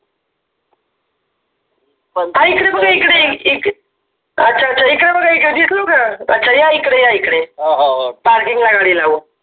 ह इकडे बघा इकडे अच्छा अच्छा इकडे बघा इकडे दिसलो का अच्छा या इकडे या इकडे parking ला गाडी लावा